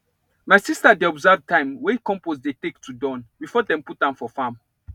my sister dey observe time wey compost dey take to Accepted before dem put am for farm